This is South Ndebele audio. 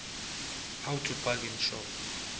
how to bargain shop